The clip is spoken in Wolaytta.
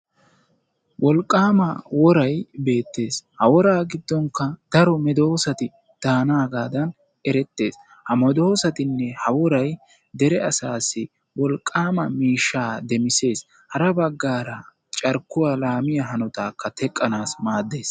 wolqaama woray beettees, ha woraa giddinkka daro medoosati daanaagadan erettees, ha medoosatinne ha woray dere asassi wolqaama miishshaa demisseesi, hara bagaara carkkuwa laamiya hanotaakka teqqanawu maaddees.